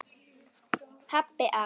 Pabbi að.